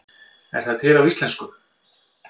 Er það til á íslensku?